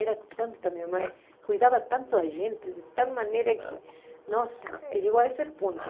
Era tanta, minha mãe cuidava tanto da gente, de tal maneira que, nossa, chegou a esse ponto.